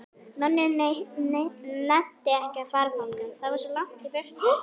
Nonni nennti ekki að fara þangað, það var svo langt í burtu.